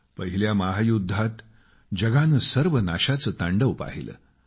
पहिल्या महायुद्धात जगाने सर्वनाशाचं तांडव पाहिलं